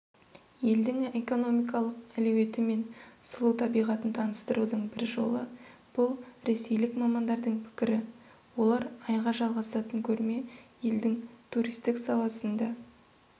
елдің экономикалық әлеуеті мен сұлу табиғатын таныстырудың бір жолы бұл ресейлік мамандардың пікірі олар айға жалғасатын көрме елдің туристік саласын да